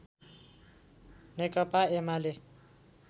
Nekapa UML